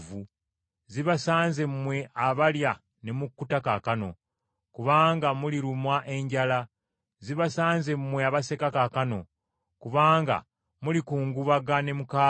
Zibasanze mmwe abalya ne mukkuta kaakano, kubanga mulirumwa enjala. Zibasanze mmwe abaseka kaakano, kubanga mulikungubaga, ne mukaaba.